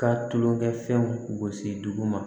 Ka tulonkɛ fɛnw gosi duguma